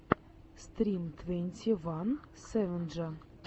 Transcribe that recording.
стрим твенти ван сэвэджа